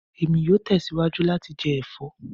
Emi yoo tẹsiwaju lati jẹ ẹfọ